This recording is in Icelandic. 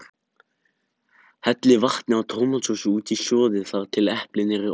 Hellið vatni og tómatsósu út í og sjóðið þar til eplin eru orðin meyr.